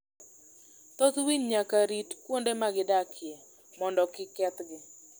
Thoth winy nyaka rit kuonde ma gidakie mondo kik kethgi.